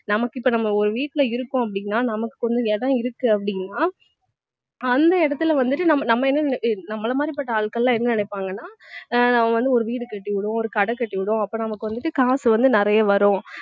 நமக்கு இப்ப நம்ம ஒரு வீட்டுல இருக்கோம் அப்படின்னா நமக்கு கொஞ்சம் இடம் இருக்கு அப்படின்னா அந்த இடத்துல வந்துட்டு நம்ம என்ன நம்மள மாதிரிபட்ட ஆட்கள்லாம் என்ன நினைப்பாங்கன்னா அஹ் அவங்க வந்து ஒரு வீடு கட்டி விடும் ஒரு கடை கட்டி விடும் அப்ப நமக்கு வந்துட்டு காசு வந்து நிறைய வரும்